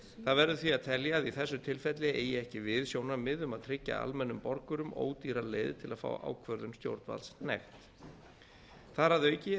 það verður því að telja að í þessu tilfelli eigi ekki við sjónarmið um að tryggja almennum borgurum ódýra leið til að fá ákvörðun stjórnvalds hnekkt þar að auki er